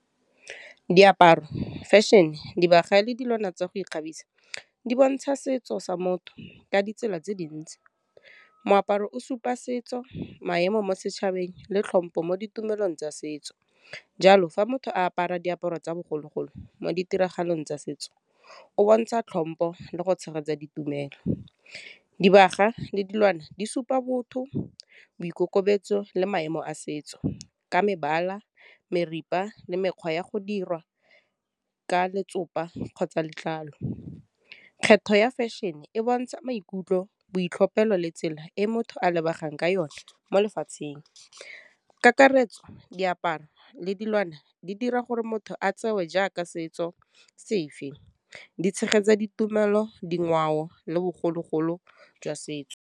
Diaparo, Fashion, dibaga le dilwana tsa go ikgabisa, di bontsha setso sa motho ka ditsela tse dintsi, moaparo o supa setso, maemo mo setšhabeng, le tlhompo mo ditumelong tsa setso, jalo fa motho a apara diaparo tsa bogologolo mo ditiragalong tsa setso, o bontsha tlhompo le go tshegetsa ditumelo. Dibaga le dilwana di supa botho, boikokobetso le maemo a setso ka mebala, meripa le mekgwa ya go dirwa ka letsopa kgotsa letlalo. Kgetho ya fashion-e e bontsha maikutlo, boitlhophelo le tsela e motho a lebegang ka yone mo lefatsheng, ka karetso, diaparo, le dilwana di dira gore motho a tsewe jaaka setso sefe, di tshegetsa ditumelo, dingwao le bogologolo jwa setso.